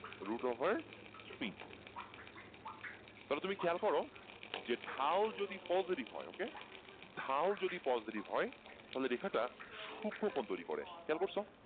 route over three তাহলে তুমি খেয়াল করো যে ঢাল যদি positive হয় Okay ঢাল যদি positive হয় তাহলে রেখাটা সূক্ষ্মকোণ তৈরি করে খেয়াল করছো?